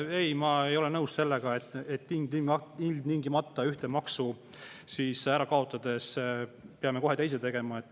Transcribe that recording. Ei, ma ei ole nõus sellega, et ilmtingimata ühte maksu ära kaotades peame kohe teise tegema.